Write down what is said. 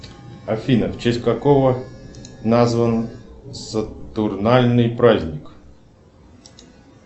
афина в честь какого назван сатурнальный праздник